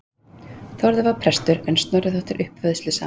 Þórður var prestur en Snorri þótti uppivöðslusamur.